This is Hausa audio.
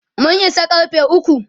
mun Isa karfe ukwu